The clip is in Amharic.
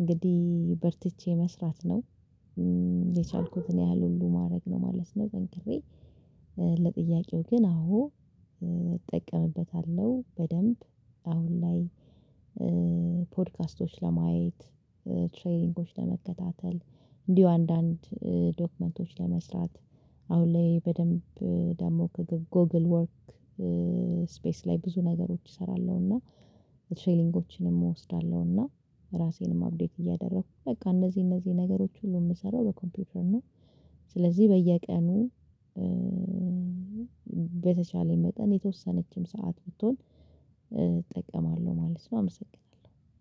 እንግዲህ በርትቼ መስራት ነው የቻልኩትን ያህል ሁሉ ማድረግ ነው ማለት ነው። ጠንክሬ ለጥያቄው ግን አዎ። እጠቀምበታለሁ በደንብ አሁን ላይ። ፖድካስቶች ለማየት ትሬኒንጎች ለመከታተል እንዲሁ አንዳንድ ዶክመንቶች ለመስራት አሁን ላይ በደንብ ደግሞ ከጎግል ወርክ ስፔስ ላይ ብዙ ነገሮች እሰራለሁ። እና ትሬኒጎችንም እወስዳለሁ እና ራሴንም አፕዴት እያደረኩ በቃ እነዚህ እነዚህ ነገሮች ሁሉ የምሰራው በኮምፒውተር ነው። ስለዚህ በየቀኑ በተቻለኝ መጠን የተወሰነችም ሰዓት ብትሆን እጠቀማለሁ ማለት ነው። አመሰግናለሁ።